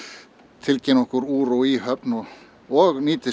tilkynna okkur úr og í höfn og nýtast